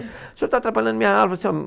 O senhor está atrapalhando a minha aula.